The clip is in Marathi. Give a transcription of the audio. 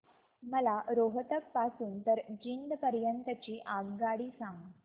मला रोहतक पासून तर जिंद पर्यंत ची आगगाडी सांगा